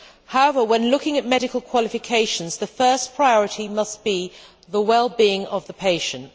However, when looking at medical qualifications, the first priority must be the well being of the patient.